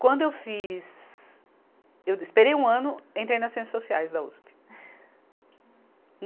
Quando eu fiz, eu de esperei um ano, entrei nas Ciências Sociais da Uspe.